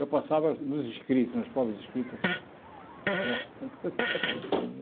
Eu passava nos escritos, nas provas escritas né.